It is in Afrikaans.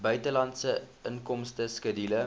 buitelandse inkomste skedule